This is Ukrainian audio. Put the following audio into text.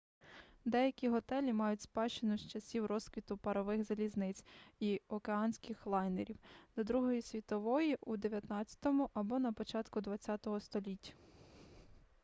деякі готелі мають спадщину з часів розквіту парових залізниць і океанських лайнерів до другої світової війни у 19-му або на початку 20-го століть